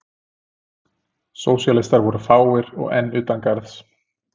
Sósíalistar voru fáir og enn utan garðs.